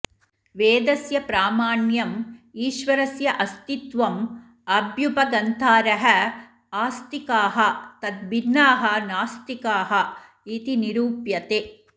वेदस्य प्रामाण्यम् ईश्वरस्य अस्तित्वम् अभ्युपगन्तारः आस्तिकाः तद्भिन्नाः नास्तिकाः इति निरूप्यते